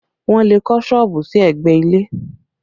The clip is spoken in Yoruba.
Wọn le kọ́ sọ́ọ̀bù sí ẹgbẹ́ ilé